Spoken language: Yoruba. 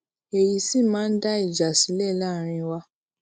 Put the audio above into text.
èyí sì máa ń dá ìjà sílẹ làárín wa